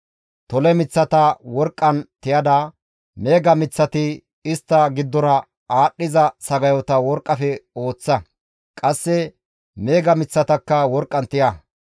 «Tole miththata worqqan tiyada meega miththati istta giddora aadhdhiza sagayota worqqafe ooththa; qasse meega miththatakka worqqan tiya.